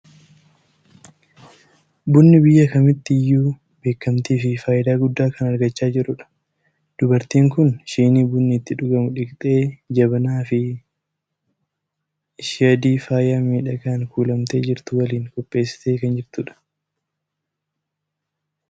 Bunni biyya kamiitti iyyuu beekamtii fi faayidaa guddaa kan argachaa jirudha! Dubartiin kun shinii bunni itti dhugamu dhiqxee, jabanaa bifi ishii adii faaya miidhagaan kuulamtee jirtu waliin qopheessitee kan jirtudha.